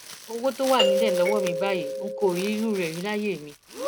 owó tó wà nílẹ lọwọ mi báyìí n kò rí irú ẹ rí láyé mi